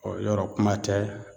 yɔrɔ kuma tɛ